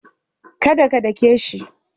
Do not beat him.